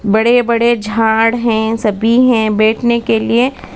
बड़े बड़े झाड़ है सभी है बैठने के लिए --